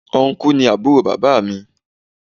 Ọnkú ni àbúrò bàbá mi.